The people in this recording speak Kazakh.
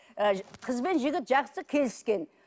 ы қызбен жігіт жақсы келіскен